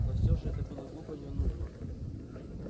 но всё же это было глупо и ненужно